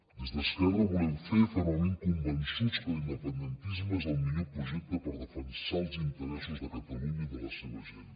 des d’esquerra volem fer fermament convençuts que l’independentisme és el millor projecte per defensar els interessos de catalunya i de la seva gent